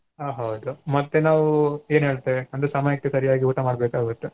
ಆ ಹೌದು ಮತ್ತೆ ನಾವು ಎನ್ ಹೇಳ್ತೆವೆ ಅಂದ್ರೆ ಸಮಯಕ್ಕೆ ಸರಿಯಾಗಿ ಊಟ ಮಾಡ್ಬೇಕಾಗುತ್ತೆ.